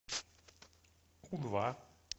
у два